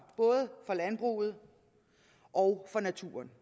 for både landbruget og naturen